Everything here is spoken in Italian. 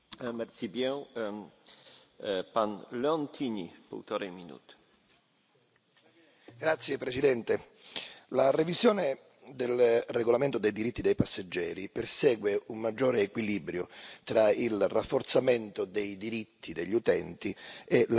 Signor Presidente, onorevoli colleghi, la revisione del regolamento dei diritti dei passeggeri persegue un maggiore equilibrio tra il rafforzamento sui diritti degli utenti e la riduzione degli oneri a carico delle imprese.